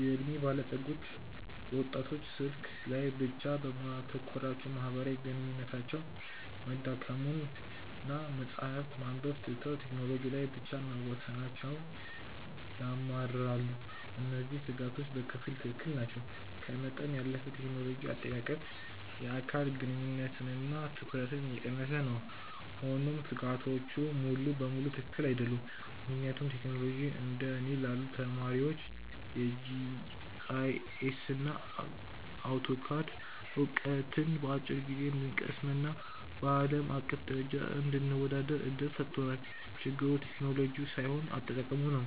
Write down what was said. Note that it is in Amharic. የዕድሜ ባለጸጎች ወጣቶች ስልክ ላይ ብቻ በማተኮራቸው ማህበራዊ ግንኙነታቸው መዳከሙንና መጽሐፍት ማንበብ ትተው ቴክኖሎጂ ላይ ብቻ መወሰናቸውን ያማርራሉ። እነዚህ ስጋቶች በከፊል ትክክል ናቸው፤ ከመጠን ያለፈ የቴክኖሎጂ አጠቃቀም የአካል ግንኙነትንና ትኩረትን እየቀነሰ ነው። ሆኖም ስጋቶቹ ሙሉ በሙሉ ትክክል አይደሉም፤ ምክንያቱም ቴክኖሎጂ እንደ እኔ ላሉ ተማሪዎች የጂአይኤስና አውቶካድ ዕውቀትን በአጭር ጊዜ እንድንቀስምና በአለም አቀፍ ደረጃ እንድንወዳደር እድል ሰጥቶናል። ችግሩ ቴክኖሎጂው ሳይሆን አጠቃቀሙ ነው።